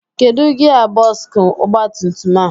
Kedụ gia bọksụ ọgbatumtum a?